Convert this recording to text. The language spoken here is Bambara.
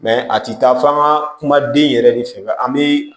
a ti taa f'an ka kuma den yɛrɛ de fɛ an bi